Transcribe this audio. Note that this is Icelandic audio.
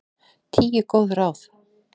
Tíu góð ráð